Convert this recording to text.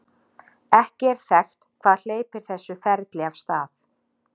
ekki er þekkt hvað hleypir þessu ferli af stað